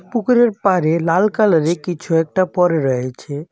পুকুরের পাড়ে লাল কালারের কিছু একটা পড়ে রয়েছে .